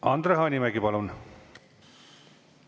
Andre Hanimägi, palun!